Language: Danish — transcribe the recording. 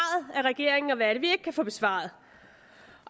af regeringen og hvad det vi kan få besvaret